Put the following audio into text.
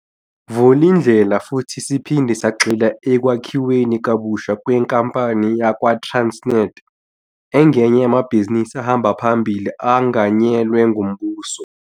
Vulindlela futhi siphinde sagxila ekwakhiweni kabusha kwenkampani yakwaTransnet, engenye yamabhizinisi ahamba phambili anganyelwe ngumbuso.